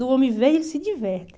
Do homem ver, ele se diverte.